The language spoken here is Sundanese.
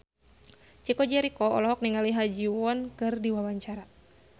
Chico Jericho olohok ningali Ha Ji Won keur diwawancara